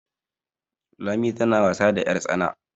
Lami tana wasa da yartsana